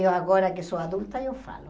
Eu agora que sou adulta, eu falo.